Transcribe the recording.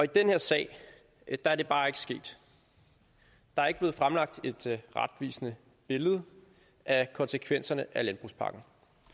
den her sag er det bare ikke sket der er ikke blevet fremlagt et retvisende billede af konsekvenserne af landbrugspakken